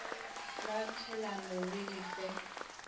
la tšhielano le di fe